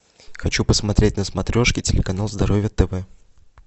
хочу посмотреть на смотрешке телеканал здоровье тв